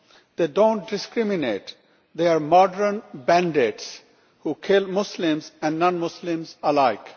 They do not discriminate they are modern bandits who kill Muslims and non Muslims alike.